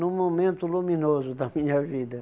Num momento luminoso da minha vida.